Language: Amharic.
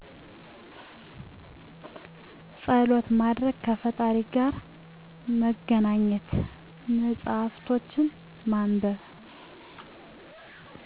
ፀሎት ማድረግ ከፈጣሪ ጋ መገናኘት መፅሃፍቶችን ማንበብ